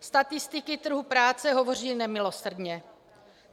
Statistiky trhu práce hovoří nemilosrdně.